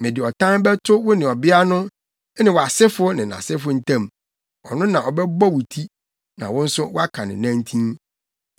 Mede ɔtan bɛto wo ne ɔbea no ne wʼasefo ne nʼasefo ntam. Ɔno na ɔbɛbɔ wo ti, na wo nso woaka ne nantin.”